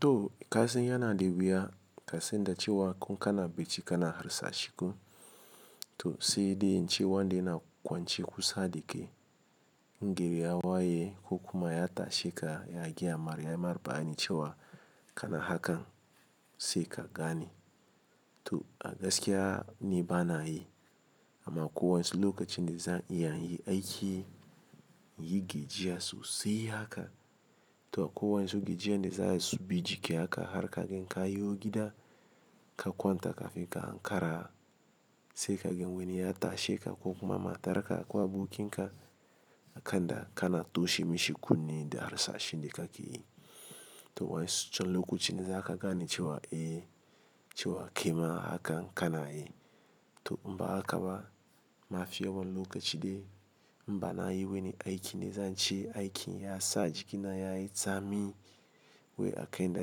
To kasan yana da wuya kasenda cewa ko kana bacci kana harsashi ko to seedi cewa wanda yana kwanciya kusa dike. Ngere ya waye ko kuma ya tashe ka ya gaya ma yama bayani cewa kana hakan sai ka gane. To a gaskiya ni bana yi amma ko wa'insu lokacin da zan iya yin aiki, inyi gejiya sosai haka to akwai wa'insu gejiya da za su bi jiki haka har ka gan ka yo gida ka kwanta kafin ka ankara sai ka gan wani ya tashe ka ko kuma matar ka ko abokin ka akan da kana toshe mishi kunne da harsashi da ka ke yi. To wa'insu can lokacin za ka gani cewa eh cewa ke ma haka kana yi. To in ba haka ba mafi yawan lokaci dai banayi wani aiki da zan ce aikin ya sa jikina yayi tsami wai akai na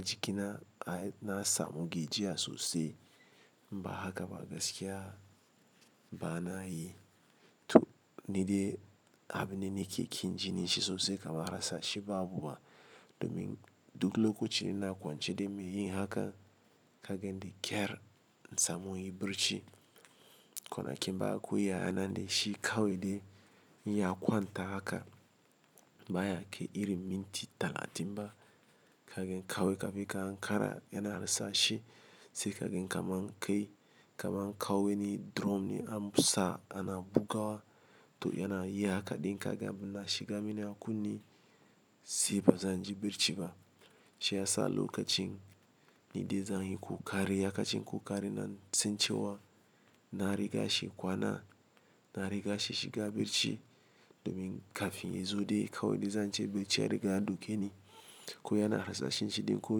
jikina na samu gejiya sosai. Ba haka ba gaskiya bana yi to ni dai abin da nake ƙin jini shi sosai kamar harsashi babu ma domin duk lokacin da na kwance dai mai yin haka ka gan da kyar na samu yin birci. Kwana ƙim baya akwai yayana ne shi kawai dai ya kwanta haka baya ke irin minti talatin ba ka gan kawai kafin ka hankara yana harsashi sai ka gan kamar an kai kamar an kawo wani drum amsa ana bugawa to yana yi haka ɗin ka ga abun na shiga mini a kunne sai ba zan ji birci ba. Shi ya sa lokacin ni dai zan yi kokari, ya kacen kokari na tun cewa na riga shi kwana, na riga shi shiga birci domin kafin ya zo dai kawai dai zan ce birci ya riga ya ɗoke ni ko yana harsashin shi dai ko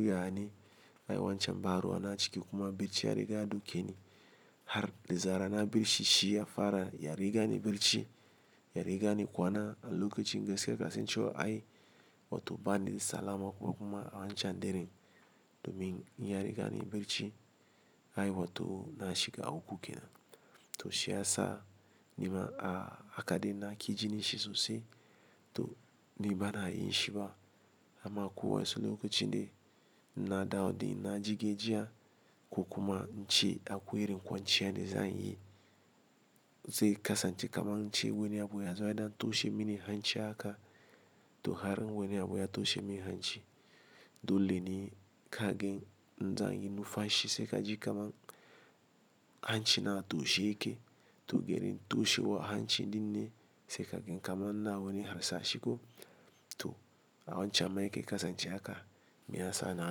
yana yi wancan baruwa na ciki kuma birci ya riga ya doke ni har dizarar na birci shi ya fara ya riga ni birci, ya riga ni kwana a lokacin gaskiya kasancewar ai wato bani da salama kuma a wancan dare domin ya riga ne birci ai wato na shiga aku ke nan. To shi ya sa nima a haka dai na ƙi jini shi sosai to ni bana yin shi ba amma ko wasu lokacin dai na dawo dai na ji gejiya ko kuma in ce akwai irin kwanciya da zan yi zai kasance kamar in ce wani abu ya zo yana toshe mini hanci haka to harin wani abu ya toshe mini hanci dole ne ka gan zan yi nufashi sai ka ji kamar hancin na a toshe yake to geri toshewa hanci dinne sai ka gan kamar na wani harsashi ko to a wancan mai yake kasance haka me ya sa na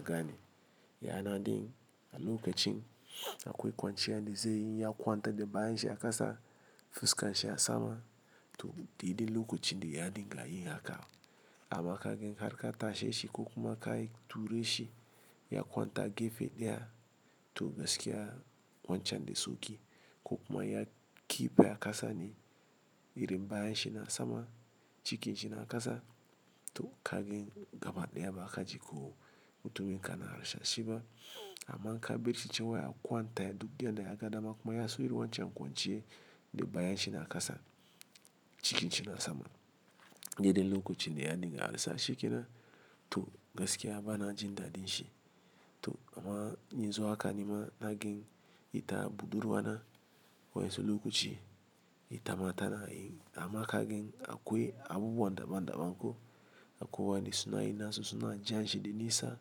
gani. Yana dai a lokacin akwai kwanciya da zai yi ya kwanta da bayan shi a kasa fuska shi a sama to didin lokacin dai ya dinga yin haka amma ka gan har ka tashe shi ko kuma ka tura shi ya kwanta gefe daya to gaskiya wancan dai soki ko kuma ya ƙi baya kasa ne irin bayan shi na sama cikinci na kasa to ka gan gaba daya ba ka ji ko mutumin kana harsashi ba amma ka birci cewa ya kwanta duk yadda ya ga dama kuma ya so yi wancan kwanciyar da bayan shi na kasa cikinci na sama. Dede lokacin dai ya dinga harsashe ke nan to gaskiya bana jin daɗin shi to amma yinzu haka nima naga ita budurwa na wancan lokaci, ita matana yi amma ka gan akwai abubuwa daban daban ko akowan da suna yin nasu suna jan shi da nisa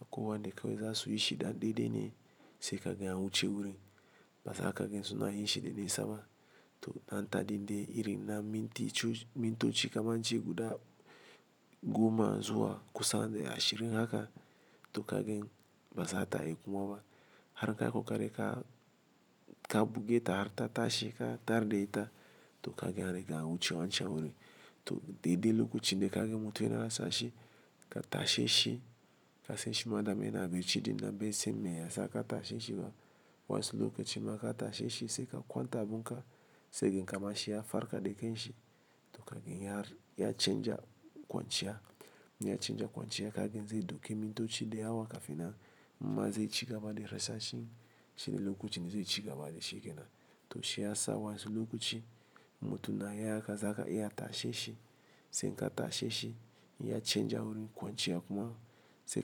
akowan da kawai za su yi shi da ɗan dai dai ne sai ka gan ya wuce wurin. Baza ka ga suna yin shi da nisa ba to an taɗi dai irin na minti cho-minto ci kamar jigu da goma zuwa kusan dai ashirin haka to ka gan bazata yi kuma ba. Har ka ga kokari ka, ka buge ta har ta tashe ka tare da ita to ka ga dai an riga wuce wancan wurin to de dai lokacin da ka ga mutumin yana harsashi ka tashe shi kasance madamin yana birci dai na bai siyan me ya sa aka tashe shi ba. Wancan lokacin ma ka tashe shi sai ka kwanta abun ka sai ka ga kamar shi ya farka da kanshi to ka gan ya, ya canja kwanciya, ya canja kwanciya ka gan zai doki mintoci da yawa kafin nan imma zai ci gaba da harsashin shi dai lokacin zai ci gaba da shi ke nan. To shi ya sa wa'insu lokaci mutumin ya haka zaka iya tashe shi sai ka tashe shi ya canja wurin kwanciya kuma sai.